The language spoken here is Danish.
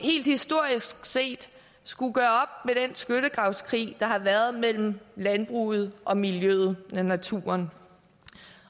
helt historisk set skulle gøre op med den skyttegravskrig der har været mellem landbruget og miljøet om naturen